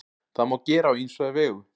Það má gera á ýmsa vegu.